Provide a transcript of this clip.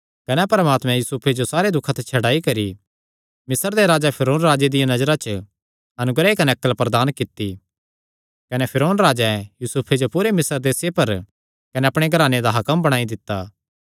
कने परमात्मे यूसुफे जो सारे दुखां ते छड्डाई करी मिस्र दे राजा फिरौन राजे दिया नजरा च अनुग्रह कने अक्ल प्रदान कित्ती कने फिरौन राजैं यूसुफे जो पूरे मिस्र देसे पर कने अपणे घराने दा हाकम बणाई दित्ता